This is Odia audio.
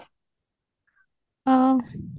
ହଁ